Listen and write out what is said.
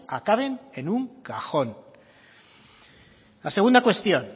acaben en un cajón la segunda cuestión